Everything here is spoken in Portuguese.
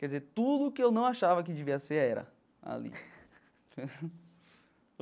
Quer dizer, tudo o que eu não achava que devia ser era ali.